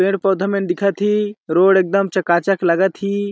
पौधा-पौधा मन दिखा थे रोड एकदम चका-चक लगा थे।